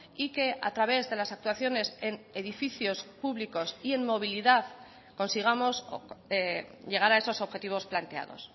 y que a través de las actuaciones en edificios públicos y en movilidad consigamos llegar a esos objetivos planteados